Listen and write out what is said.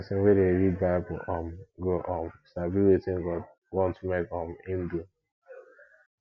pesin wey dey read bible um go um sabi wetin god want mek um im do